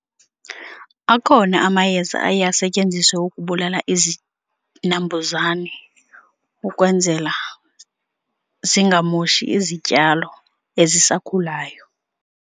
Akhona amayeza aye asetyenziswe ukubulala izinambuzane ukwenzela zingamoshi izityalo ezisakhulayo.